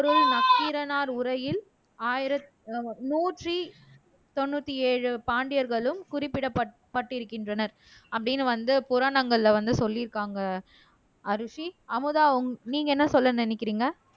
நக்கீரனார் உரையில் ஆயிரத் நூற்றி தொண்ணூற்றி ஏழு பாண்டியர்களும் குறிப்பிடப்பட் பட்டிருக்கின்றனர் அப்படின்னு வந்து புராணங்கள்ல வந்து சொல்லிருக்காங்க அரூசி அமுதா உங் நீங்க என்ன சொல்ல நினைக்கிறீங்க